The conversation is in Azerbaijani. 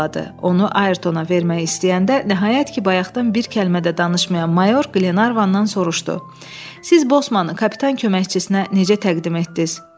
Onu Ayrtona vermək istəyəndə, nəhayət ki, bayaqdan bir kəlmə də danışmayan mayor Glenarvandan soruşdu: “Siz Bosmanı kapitan köməkçisinə necə təqdim etdiniz?”